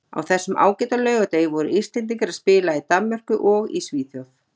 Á þessum ágæta laugardegi voru Íslendingar að spila í Danmörku og í Svíþjóð.